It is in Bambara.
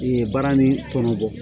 baara ni tɔnɔ bɔ